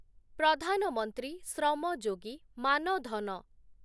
Pradhan Mantri Shram Yogi Maan Dhan